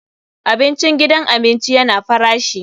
Abincin gidan abinci yana farashi.